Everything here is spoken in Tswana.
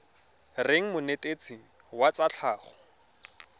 reng monetetshi wa tsa tlhago